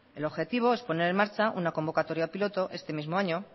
el objetivo es poner en marchar una convocatoria piloto este mismo año